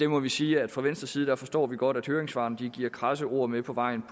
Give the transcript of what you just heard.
må vi sige at fra venstres side forstår vi godt at høringssvarene giver krasse ord med på vejen